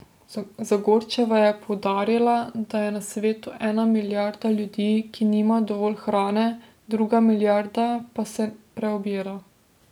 Zagorčeva je poudarila, da je na svetu ena milijarda ljudi, ki nima dovolj hrane, druga milijarda pa se preobjeda.